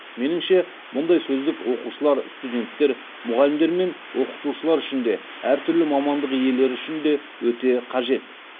меніңше мұндай сөздік оқушылар студенттер мұғалімдер мен оқытушылар үшін де әртүрлі мамандық иелері үшін де өте қажет